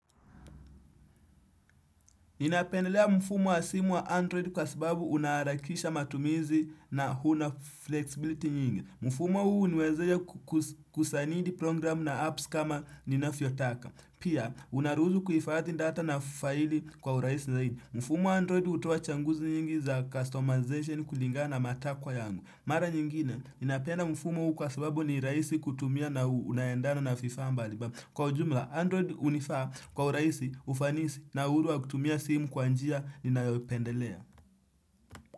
Ninapendelea mfumo wa simu wa android kwa sababu unaharakisha matumizi na una flexibility nyingi. Mfumo huu huniwezesha kusanidi program na apps kama ninavyotaka. Pia, unaruhusu kuhifadhi data na faili kwa urahisi zaidi. Mfumo wa android hutoa changuzi nyingi za customization kulingana na matakwa yangu. Mara nyingine, ninapenda mfumo huu kwa sababu ni rahisi kutumia na unaendana na vifaa mbalimbali. Kwa ujumla Android hunifaa kwa urahisi, ufanisi na uhuru wa kutumia simu kwa njia ninayopendelea.